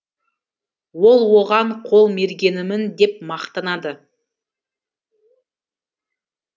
ол оған қол мергенімін деп мақтанады